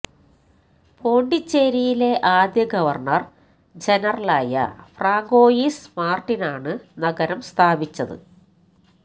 പോണ്ടിച്ചേരിയിലെ ആദ്യ ഗവര്ണര് ജനറലായ ഫ്രാങ്കോയിസ് മാര്ട്ടിനാണ് നഗരം സ്ഥാപിച്ചത്